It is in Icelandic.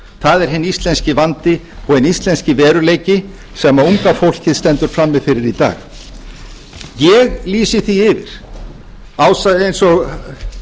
það er hinn íslenski vandi og hinn íslenski veruleiki sem unga fólkið stendur frammi fyrir í dag ég lýsi því yfir eins og